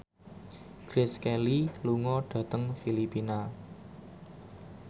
Grace Kelly lunga dhateng Filipina